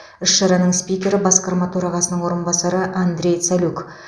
іс шараның спикері басқарма төрағасының орынбасары андрей цалюк